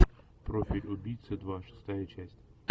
профиль убийцы два шестая часть